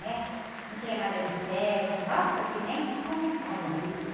Né? Não tinha nada de sexo, nossa, se, nem se comentava isso.